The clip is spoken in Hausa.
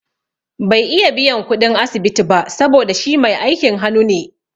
Bai iya biyan kuɗin asibiti ba saboda shi mai aikin hanu ne